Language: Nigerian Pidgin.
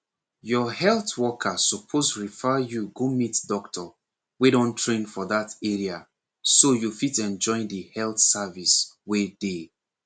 your health worker suppose refer you go meet doctor wey don train for that area so you fit enjoy the health service wey dey